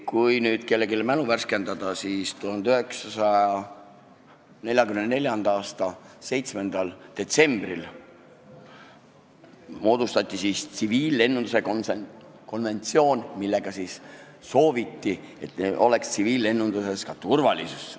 Kui nüüd kellelgi mälu värskendada, siis 1944. aasta 7. detsembril moodustati tsiviillennunduse konventsioon, millega sooviti, et tsiviillennunduses oleks turvalisus.